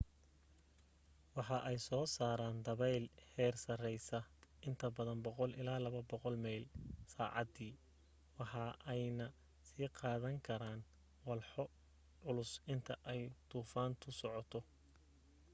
waxa ay soo saaran dabeyl heer sareysa inta badan 100-200 meyl/saacadi waxa ayna sii qaadan karaan walxo culus inta ay duufantu socoto